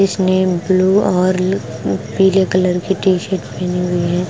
इसने ब्लू और पीले कलर की टीशर्ट पहनी हुई है।